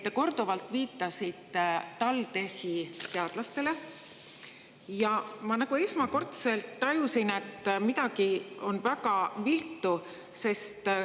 Te korduvalt viitasite TalTechi teadlastele ja ma esmakordselt tajusin, et midagi on väga viltu.